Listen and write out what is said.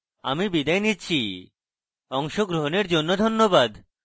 I I T Bombay থেকে আমি বিদায় নিচ্ছি অংশগ্রহণের জন্য ধন্যবাদ